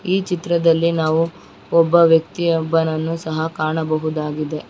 ಈ ಚಿತ್ರದಲ್ಲಿ ನಾವು ಒಬ್ಬ ವ್ಯಕ್ತಿ ಒಬ್ಬನನ್ನು ಸಹ ಕಾಣಬಹುದಾಗಿದೆ